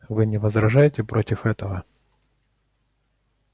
вы не возражаете против этого